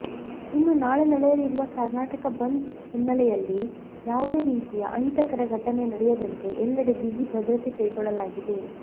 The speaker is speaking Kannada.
ಇನ್ನು ನಾಳೆ ನಡೆಯಲಿರುವ ಕರ್ನಾಟಕ ಬಂದ್ ಹಿನ್ನೆಲೆಯಲ್ಲಿ ಯಾವುದೇ ರೀತಿಯ ಅಹಿತಕರ ಘಟನೆ ನಡೆಯದಂತೆ ಎಲ್ಲೆಡೆ ಬಿಗಿ ಭದ್ರತೆ ಕೈಗೊಳ್ಳಲಾಗಿದೆ